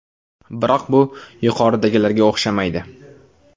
Biroq bu yuqoridagilarga o‘xshamaydi.